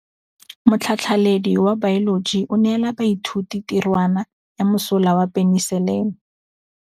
Motlhatlhaledi wa baeloji o neela baithuti tirwana ya mosola wa peniselene.